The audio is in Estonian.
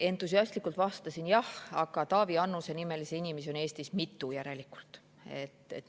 Entusiastlikult vastasin jah, aga järelikult on Taavi Annuse nimelisi inimesi Eestis mitu.